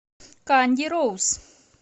канди роуз